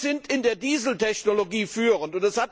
Wir sind in der Dieseltechnologie führend.